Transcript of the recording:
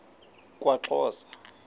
kwaxhosa